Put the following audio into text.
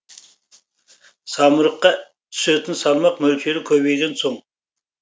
самұрыққа түсетін салмақ мөлшері көбейген соң